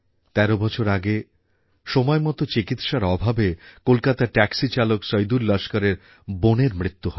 তের বছর আগে সময় মত চিকিৎসার অভাবে কলকাতার ট্যাক্সিচালক সইদুল লস্করের বোনের মৃত্যু হয়